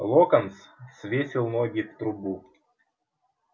локонс свесил ноги в трубу